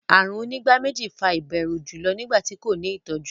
àrùn onígbáméjì fà ìbẹrù julọ nigbati ko ni itọju.